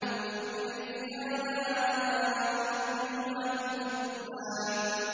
فَبِأَيِّ آلَاءِ رَبِّكُمَا تُكَذِّبَانِ